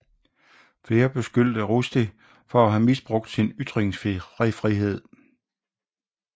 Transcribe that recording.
Flere beskyldte Rushdie for at have misbrugt sin ytringsfrihed